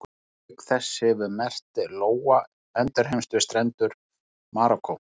Auk þess hefur merkt lóa endurheimst við strendur Marokkó.